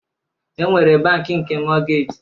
E nwere bankị nke mọgej